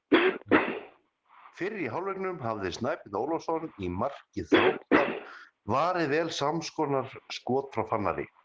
Fyrr í hálfleiknum hafði Snæbjörn Ólafsson í marki Þróttar varið vel samskonar skot frá Fannari.